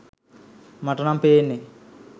මටනම් පේන්නේ!